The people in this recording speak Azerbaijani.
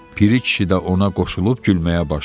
Piri kişi də ona qoşulub gülməyə başladı.